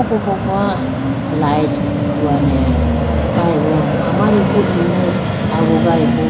okoko light huwane khayibo amariku imu agugayi bo.